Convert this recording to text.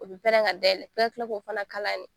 O bɛ pɛrɛn ka dayɛlɛ f'i ka tila k'o fana kala de